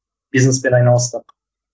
бизнеспен айналыстық